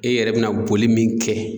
E yɛrɛ bɛna boli min kɛ